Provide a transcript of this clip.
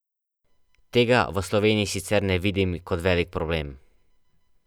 Tega v Sloveniji sicer ne vidim kot velik problem.